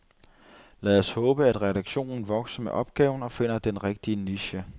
Lad os håbe, at redaktionen vokser med opgaven og finder den rigtige niche.